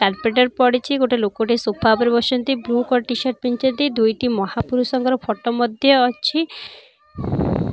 କାଲପେଟର ପଡିଛିଗୋଟେ ଲୋକଟେ ସୋଫା ଉପରେ ବସିଛନ୍ତି ବ୍ଲୁ କଲର ଟିସର୍ଟ ପିନ୍ଧିଛନ୍ତି ଦୁଇଟି ମହାପୁରୁଷଙ୍କର ଫୋଟୋ ମଧ୍ୟ ଅଛି ।